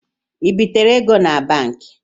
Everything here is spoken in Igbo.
Ịbịtere ego na Banki?